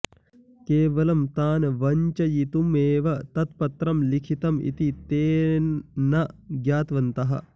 केवलं तान् वञ्चयितुमेव तत्पत्रं लिखितम् इति ते न ज्ञातवन्तः